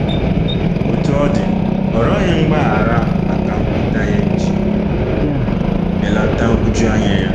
Otú ọ dị, ọ rịọghị mgbaghara maka nkweta ya iji belata nhụjuanya ya.